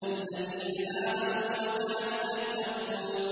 الَّذِينَ آمَنُوا وَكَانُوا يَتَّقُونَ